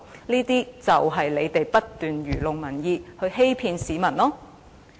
這便是因為他們不斷愚弄民意，欺騙市民。